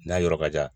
N'a yɔrɔ ka jan